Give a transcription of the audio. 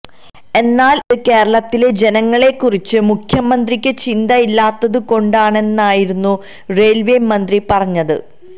എന്നാല് ഇത് കേരളത്തിലെ ജനങ്ങളെക്കുറിച്ച് മുഖ്യമന്ത്രിക്ക് ചിന്തയില്ലാത്തതു കൊണ്ടാണെന്നായിരുന്നു റെയില്വേ മന്ത്രി പറഞ്ഞത്